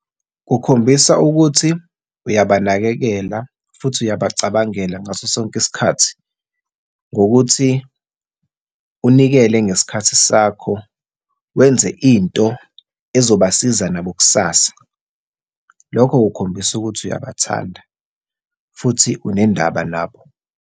Kukhombisa ukuthi uyabanakekela futhi uyabacabangela ngaso sonke isikhathi, ngokuthi unikele ngesikhathi sakho, wenze into ezobasiza nabo kusasa. Lokho kukhombisa ukuthi uyabathanda, futhi unendaba nabo.